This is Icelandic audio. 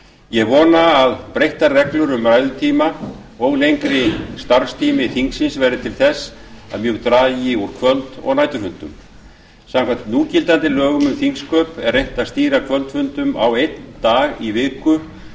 ég vona að breyttar reglur um ræðutíma og lengri starfstími þingsins verði til þess að mjög dragi úr kvöld og næturfundum samkvæmt núgildandi lögum um þingsköp er reynt að stýra kvöldfundum á einn dag í viku